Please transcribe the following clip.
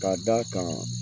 Ka d'a kan